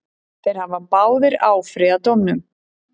Þeir hafa báðir áfrýjað dómnum.